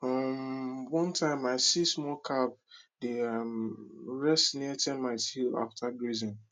um one time i see small calf dey um rest near termite hill after grazing